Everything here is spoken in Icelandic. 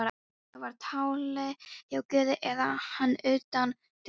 Það var á tali hjá guði eða hann utan þjónustusvæðis.